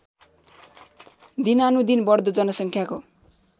दिनानुदिन बढ्दो जनसङ्ख्याको